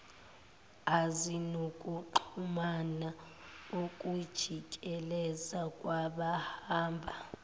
ezinokuxhumana ukujikeleza kwabahamba